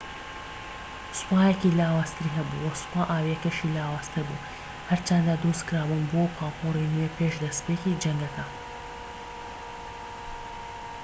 سوپایەکی لاوازتری هەبوو وە سوپا ئاویەکەشی لاوازتر بوو هەرچەندە دروست کرابوون بۆ پاپۆری نوێ پێش دەستپێکی جەنگەکە